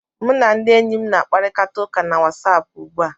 M na ndị enyi m na-akparịta ụka na Wasapụ ugbu a